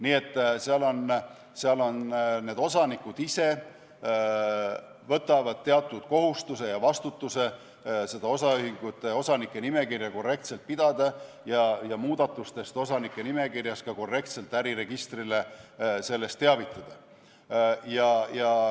Nii et seal osanikud ise võtavad teatud kohustuse ja vastutuse seda osanike nimekirja korrektselt pidada ja muudatustest osanike nimekirjas ka korrektselt äriregistrit teavitada.